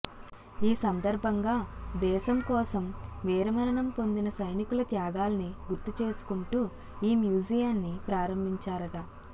ఈ సందర్భంగా దేశం కోసం వీర మరణం పొందిన సైనికుల త్యాగాల్ని గుర్తు చేసుకుంటూ ఈ మ్యూజియాన్ని ప్రారంభించారట